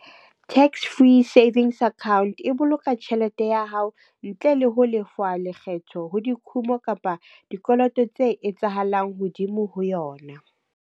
Tax-free savings account e boloka tjhelete ya hao ntle le ho lefuwa lekgetho ho dikhumo kapa dikoloto tse etsahalang hodimo ho yona.